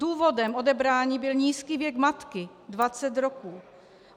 Důvodem odebrání byl nízký věk matky, 20 roků.